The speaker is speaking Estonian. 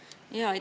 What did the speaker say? Palun!